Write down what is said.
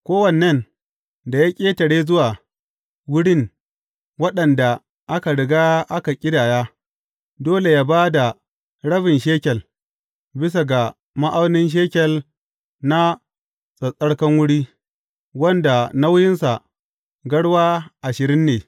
Kowannen da ya ƙetare zuwa wurin waɗanda aka riga aka ƙidaya, dole yă ba da rabin shekel, bisa ga ma’aunin shekel na tsattsarkan wuri, wanda nauyinsa garwa ashirin ne.